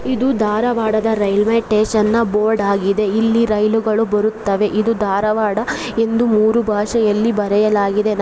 ಇದು ಧಾರವಾಡದ railway station ನ ಬೋರ್ಡ್ ಆಗಿದೆ ಇಲ್ಲಿ ರೈಲು ಗಳು ಬರುತ್ತವೆ. ಇದು ಧಾರವಾಡ ಎಂದು ಮೂರು ಭಾಷೆಯಲ್ಲಿ ಬರೆಯಲಾಗಿದೆ ನಮ್ --